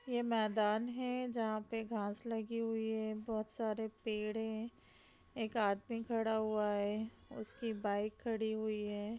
ये मैदान है जहां पे घास लगी हुई है बहुत सारे पेड़ है एक आदमी खड़ा हुआ है उसकी बाइक खड़ी हुई है।